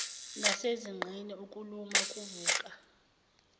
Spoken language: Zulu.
nasezinqeni ukuluma kuvuka